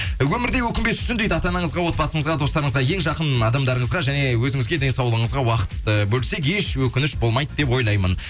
өмірде өкінбес үшін дейді ата анаңызға отбасыңызға достарыңызға ең жақын адамдарыңызға және өзіңізге денсаулығыңызға уақыт ы бөлсек еш өкініш болмайды деп ойлаймын